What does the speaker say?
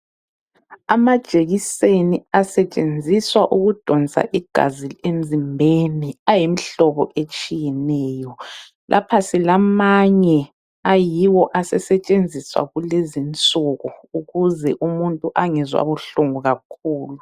Amajekiseni asetshenziswa ukudonsa igazi emzimbeni, ayimihlobo etshiyeneyo. Lapha silamanye ayiwo asesetshenziswa kulezinsuku ukuze umuntu angezwa buhlungu kakhulu.